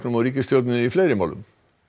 og ríkisstjórninni í fleiri málum